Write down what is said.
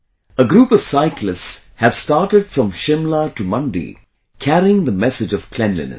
A group of cyclists have started from Shimla to Mandi carrying the message of cleanliness